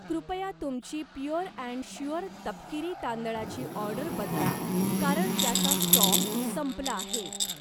कृपया तुमची pure and sure तपकिरी तांदळाची ऑर्डर बदला कारण त्याचा स्टॉक संपला आहे